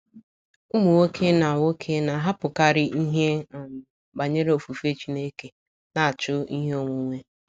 Ụmụ nwoke na nwoke na - ahapụkarị ihe um banyere ofufe Chineke na - achụ ihe onwunwe.